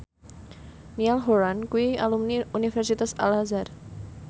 Niall Horran kuwi alumni Universitas Al Azhar